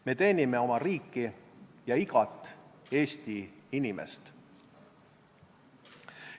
Me teenime oma riiki ja igat Eesti inimest.